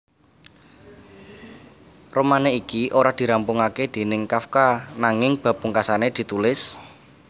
Romané iki ora dirampungaké déning Kafka nanging bab pungkasané ditulis